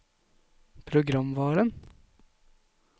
programvaren